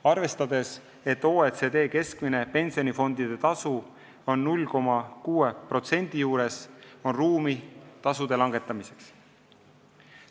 Arvestades, et OECD riikide keskmine pensionifondide tasu on 0,6% juures, on ruumi tasude langetamiseks.